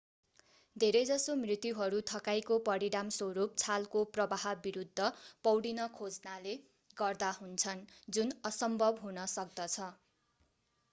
धेरैजसो मृत्युहरू थकाइको परिणामस्वरूप छालको प्रवाह विरूद्ध पौडिन खोज्नाले गर्दा हुन्छन् जुन असम्भव हुन सक्दछ